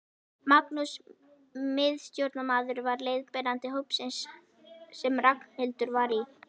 Magnús miðstjórnarmaður var leiðbeinandi hópsins sem Ragnhildur var í.